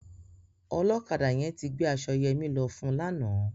Ọlọ́kadà yẹn ti gbé aṣọ Yẹmí lọ fun lánàá.